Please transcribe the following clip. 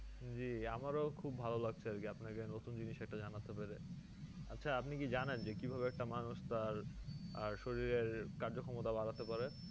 জ্বি আমার ও খুব ভালোলাগছে আর কি আপনাকে নতুন জিনিস একটা জানাতে পেরে আচ্ছা আপনি কি জানেন যে কি ভাবে একটা মানুষ তার আর শরীরের কার্যক্ষমতা বাড়াতে পারে